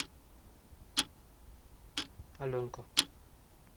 аленка